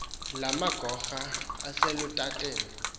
lamagora ase lutateni